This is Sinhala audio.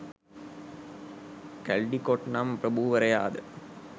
කැල්ඩිකොට් නම් ප්‍රභූවරයාද